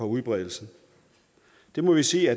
udbredelsen det må vi sige